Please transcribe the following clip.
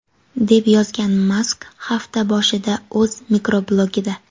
deb yozgan Mask hafta boshida o‘z mikroblogida.